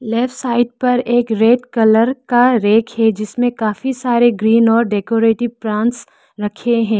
Left side पर एक red colour का रैक है जिसमें काफी सारे ग्रीन और डेकोरेटिव प्लांट्स रखे हैं।